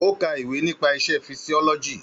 Ó ka ìwé nípa isẹ́ fisíọ́lọ́jì.